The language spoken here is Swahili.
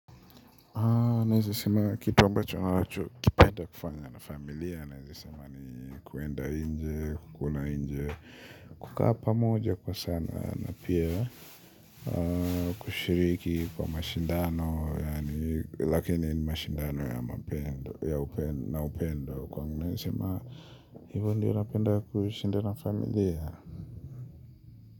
Naweza sema kitu ambacho nachokipenda kufanya na familia naweza sema ni kwenda nje, kukula nje, kukaa pamoja kwa sana na pia kushiriki kwa mashindano yaani lakini mashindano ya upendo na upendo kwangu naweza sema hivyo ndiyo napenda kushinda na familia.